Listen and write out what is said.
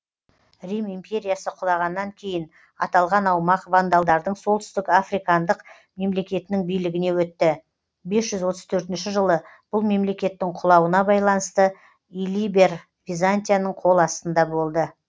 рим империясы құлағаннан кейін аталған аумақ вандалдардың солтүстік африкандық мемлекетінің билігіне өтті бес жүз отыз төртінші жылы бұл мемлекеттің құлауына байланысты илиберр византияның қол астында болды